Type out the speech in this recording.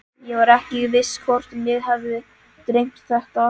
Ég var ekki viss hvort mig hefði dreymt þetta.